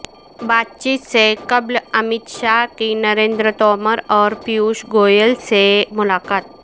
بات چیت سے قبل امت شاہ کی نریندر تومر اور پیوش گوئل سے ملاقات